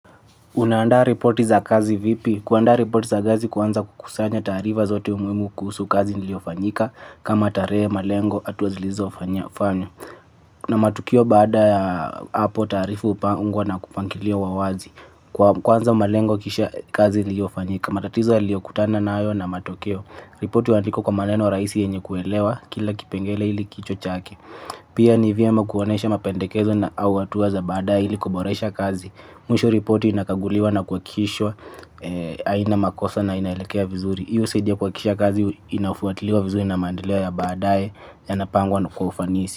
Unaanda reporti za kazi vipi? Kuanda reporti za kazi huanza kukusanya taarifa zote umuhimu kusu kazi niliofanyika kama tarehe malengo hatua zilizofanywa kuna matukio baada ya hapo tarifu upangwa na kupangilio wa wazi. Kwanza malengo kisha kazi iliofanyika. Matatizo aliokutana nayo na matokeo. Reporti huandikwa kwa maneno rahisi yenye kuelewa kila kipengele ili kichwa chake pia ni vyema kuonesha mapendekezo na hatua za baadae ili kuboresha kazi. Mwisho ripoti inakaguliwa na kuhakishwa aina makosa na inailekea vizuri. Hiyo saidi ya kuhakikisha kazi inafuatiliwa vizuri na mandeleo ya badae. Yanapangwa na kwa ufanisi.